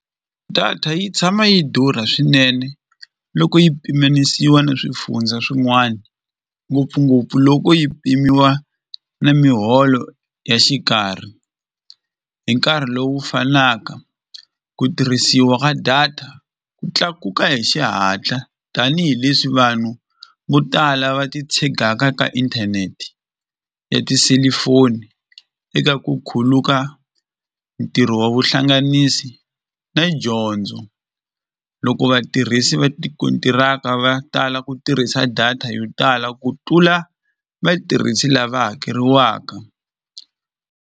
Data yi tshama yi durha swinene loko yi pimanisiwa ni swifundza swin'wana ngopfungopfu loko yi pimiwa ni miholo ya xikarhi hi nkarhi lowu fanaka ku tirhisiwa ka data ku tlakuka hi xihatla tanihileswi vanhu vo tala va titshegaka ka inthaneti ya tiselifoni eka ku khuluka ntirho wa vuhlanganisi na dyondzo loko vatirhisi va tikontiraka va tala ku tirhisa data yo tala ku tlula vatirhisi lava hakeriwaka.